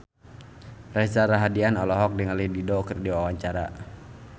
Reza Rahardian olohok ningali Dido keur diwawancara